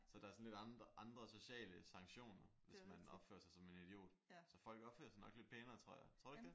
Så der er sådan lidt andre andre sociale sanktioner hvis man opfører sig som en idiot. Så folk opfører sig nok lidt pænere tror jeg. Tror du ikke det?